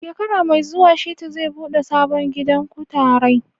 Shekara mai zuwa Shitu zai buɗe sabon gidan kutarai.